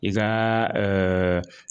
I ka